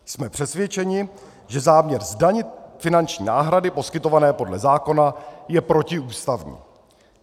Jsme přesvědčeni, že záměr zdanit finanční náhrady poskytované podle zákona je protiústavní.